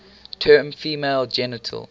term female genital